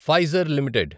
Pfizer limited